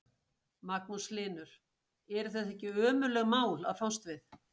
Magnús Hlynur: Eru þetta ekki ömurleg mál að fást við?